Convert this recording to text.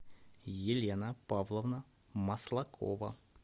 елена павловна маслакова